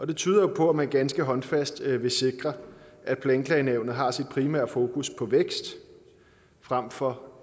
det tyder jo på at man ganske håndfast vil sikre at planklagenævnet har sit primære fokus på vækst frem for